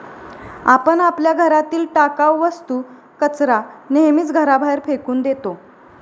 आपण आपल्या घरातील टाकाव वस्तू, कचरा नेहमीच घराबाहेर फेकून देतो.